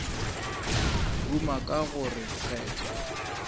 ruma ka go re kgetho